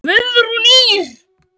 Guðrún Ýr.